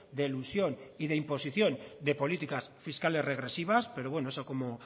de elusión y de imposición de políticas fiscales regresivas pero bueno eso como